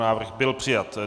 Návrh byl přijat.